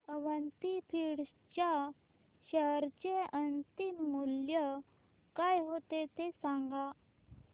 Avanti feeds च्या share चे अंतिम मूल्य काय होते ते सांगा